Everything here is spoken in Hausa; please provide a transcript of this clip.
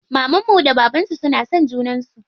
Mamanmu da bababnmu suna son juna sosai.